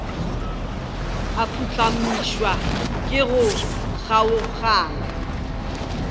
a phuhlamišwa ke go kgaogana